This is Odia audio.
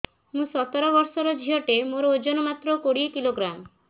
ମୁଁ ସତର ବର୍ଷ ଝିଅ ଟେ ମୋର ଓଜନ ମାତ୍ର କୋଡ଼ିଏ କିଲୋଗ୍ରାମ